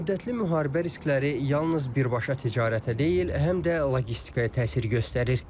Uzunmüddətli müharibə riskləri yalnız birbaşa ticarətə deyil, həm də logistikaya təsir göstərir.